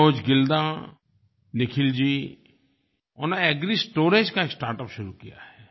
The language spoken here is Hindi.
मनोज गिल्दा निखिल जी उन्होंने एग्रिस्टोरेज का स्टार्टअप शुरू किया है